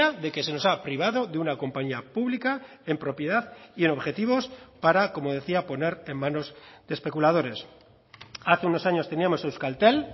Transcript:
de que se nos ha privado de una compañía pública en propiedad y en objetivos para como decía poner en manos de especuladores hace unos años teníamos euskaltel